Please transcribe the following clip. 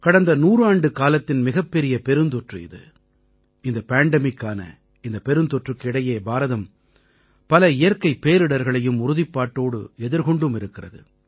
கடந்த 100 ஆண்டுக்காலத்தின் மிகப்பெரிய பெருந்தொற்று இது இந்த pandemicஆன இந்தப் பெருந்தொற்றுக்கு இடையே பாரதம் பல இயற்கைப் பேரிடர்களையும் உறுதிப்பாட்டோடு எதிர்கொண்டும் இருக்கிறது